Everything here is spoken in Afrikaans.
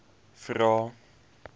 vvvvrae